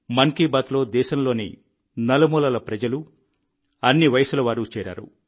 మన్ కీ బాత్లో దేశంలోని నలుమూలల ప్రజలు అన్ని వయసుల వారు చేరారు